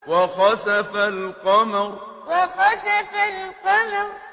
وَخَسَفَ الْقَمَرُ وَخَسَفَ الْقَمَرُ